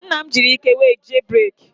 Nna m jiri ike were jie breeki.